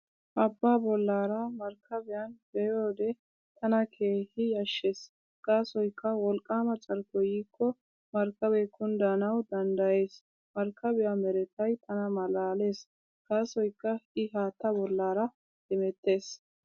Abbaa bollaara markkabiyan be'iyoode tana keehi yashshees gaasoykka wolqqaama carkkoy yiikko markkabee kunddanawu danddayees. Markkabiyaa meretay tana malaalees gaasoykka I haattaa bollaara hemettees.